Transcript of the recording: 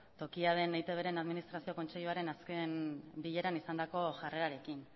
tokia den eitbren administrazio kontseiluaren azken bileran izandako jarrerarekin